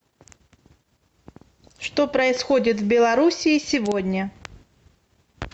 что происходит в белоруссии сегодня